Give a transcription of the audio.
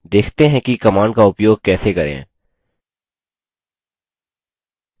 देखते हैं कि command का उपयोग कैसे करें